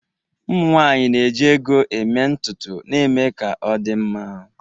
ụmụ nwanyị na-eji ego eme ntutu na-eme ka ọ dị mma